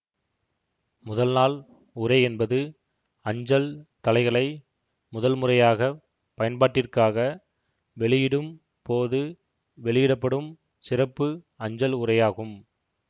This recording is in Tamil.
முதல் நாள் உறை என்பது அஞ்சல் தலைகளை முதல் முறையாக பயன்பாட்டிற்காக வெளியிடும் போது வெளியிட படும் சிறப்பு அஞ்சல் உறையாகும்